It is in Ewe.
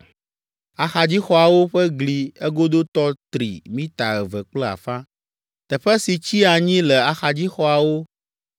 Axadzixɔawo ƒe gli egodotɔ tri mita eve kple afã. Teƒe si tsi anyi le axadzixɔawo